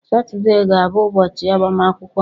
Saturday ga-abụ ụbọchị agbamakwụkwọ m.